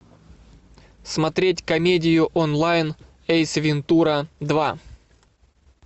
смотреть комедию онлайн эйс вентура два